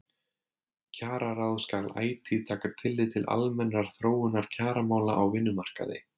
Kjararáð skal ætíð taka tillit til almennrar þróunar kjaramála á vinnumarkaði.